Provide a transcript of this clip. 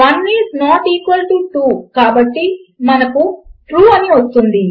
1 is not equal to 2 కాబట్టి మనకు true అని వస్తుంది